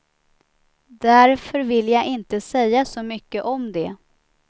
Därför vill jag inte säga så mycket om det.